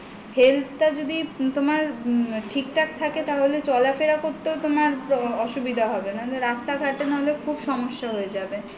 health টা যদি তোমার ঠিকঠাক থাকে তাহলে চলাফেরা করতে তোমার অসুবিধা হবে না নাহলে রাস্তা নাহলে খুব সমস্যা হয়ে যাবে